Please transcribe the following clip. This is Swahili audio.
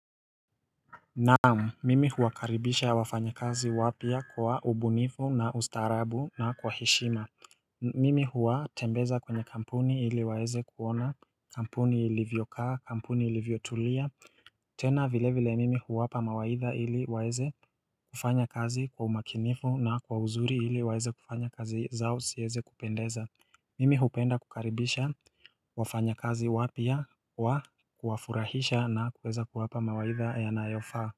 Naam mimi huwakaribisha wafanyakazi wapya kwa ubunifu na ustaarabu na kwa heshima Mimi huwatembeza kwenye kampuni ili waeze kuona kampuni ilivyokaa kampuni ilivyotulia tena vile vile mimi huwapa mawaidha ili waeze kufanya kazi kwa umakinifu na kwa uzuri ili waeze kufanya kazi zao siyeze kupendeza Mimi hupenda kukaribisha wafanyakazi wapya kwa kuwafurahisha na kuweza kuwapa mawaidha yanayofaa.